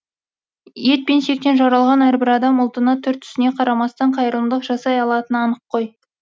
ет пен сүйектен жаралған әрбір адам ұлтына түр түсіне қарамастан қайырымдылық жасай алатыны анық қой